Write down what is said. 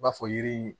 I b'a fɔ yiri